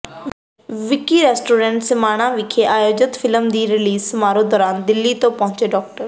ਵਿਕੀ restaurant Samana ਵਿਖੇ ਆਯੋਜਿਤ film ਦੇ ਰਿਲੀਜ਼ ਸਮਾਰੋਹ ਦੌਰਾਨ ਦਿੱਲੀ ਤੋਂ ਪਹੁੰਚੇ ਡਾ